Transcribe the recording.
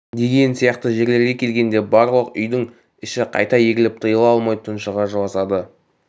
деген сияқты жерлерге келгенде барлық үйдің іші қайта егіліп тыйыла алмай тұншыға жыласады